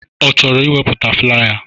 Ọ chọrọ iweputa flaya?